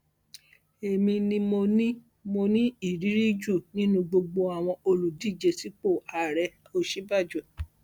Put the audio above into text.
èmi ni mo ní mo ní ìrírí jù nínú gbogbo àwọn olùdíje sípò àárẹòsínbàjò